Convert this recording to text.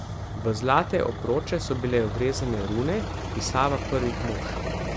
V zlate obroče so bile vrezane rune, pisava Prvih mož.